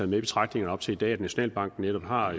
i betragtningerne op til i dag at nationalbanken netop har